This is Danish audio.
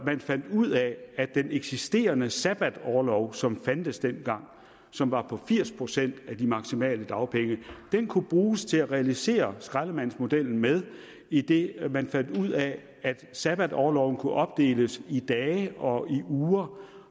man fandt ud af at den eksisterende sabbatorlov som fandtes dengang som var på firs procent af de maksimale dagpenge kunne bruges til at realisere skraldemandsmodellen med idet man fandt ud af at sabbatorloven kunne opdeles i dage og i uger